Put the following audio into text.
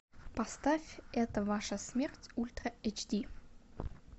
поставь это ваша смерть ультра эйч ди